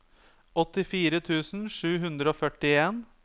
åttifire tusen sju hundre og førtien